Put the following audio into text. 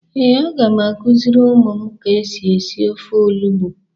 Ee, a ga m akuziri umu m ka esi esi ofe olugbu.